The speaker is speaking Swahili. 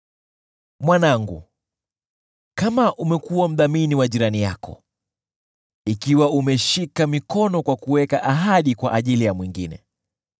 Mwanangu, kama umekuwa mdhamini wa jirani yako, ikiwa umeshika mikono kwa kuweka ahadi kwa ajili ya mwingine,